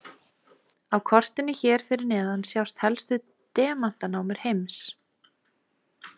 Á kortinu hér fyrir neðan sjást helstu demantanámur heims.